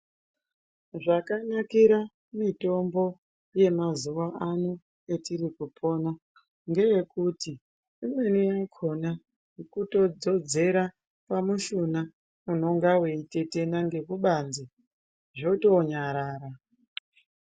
Zvaka nakira mitombo ye mazuva ano etiri kupona ngeye kuti imweni yakona kuto dzodzera pa mushuna unonga wei tetena ngeku banze zvoto nyarara.